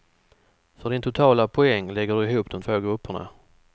För din totala poäng lägger du ihop de två grupperna.